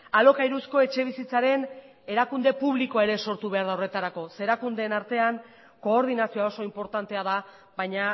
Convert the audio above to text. alokairuzko etxebizitzaren erakunde publikoa ere sortu behar da horretarako zeren erakundeen artean koordinazioa oso inportantea da baina